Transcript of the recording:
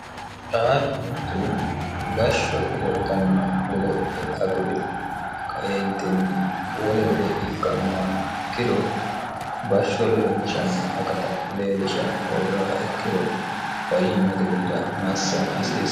raaqu mittu bashsho godotanno godo'le aguri qayentinni wole gede ikkannoa ikkiro bashsho leellishanno akat leellisha hoogaa ikkiro fayyimmotemiira massa asiisa